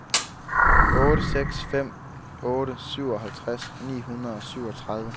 otte seks fem otte syvoghalvtreds ni hundrede og syvogtredive